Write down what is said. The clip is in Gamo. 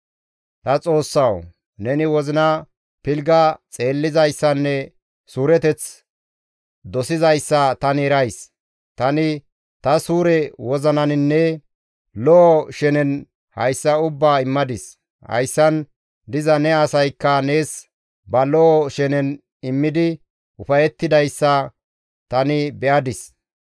«Ta Xoossawu! Neni wozina pilgga xeellizayssanne suureteth dosizayssa tani erays; tani ta suure wozinaninne lo7o shenen hayssa ubbaa immadis; hayssan diza ne asaykka nees ba lo7o shenen immidi ufayettidayssa tani be7adis.